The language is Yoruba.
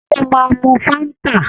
Ṣé ó máa mu Fáńtà?